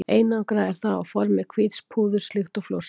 Einangrað er það á formi hvíts púðurs líkt og flórsykur.